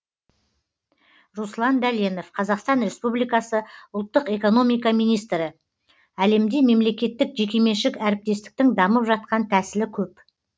руслан дәленов қазақстан республикасы ұлттық экономика министрі әлемде мемлекеттік жекеменшік әріптестіктің дамып жатқан тәсілі көп